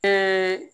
Ka